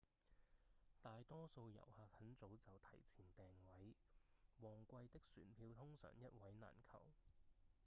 大多數遊客很早就提前訂位旺季的船票通常一位難求